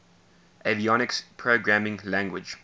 avionics programming language